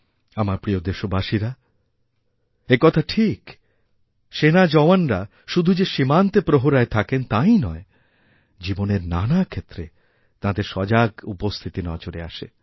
আমার প্রিয় দেশবাসীরাএকথা ঠিক যে সেনা জওয়ানরা শুধু যে সীমান্তে প্রহরায় থাকেন তাই নয় জীবনের নানাক্ষেত্রে তাঁদের সজাগ উপস্থিতি নজরে আসে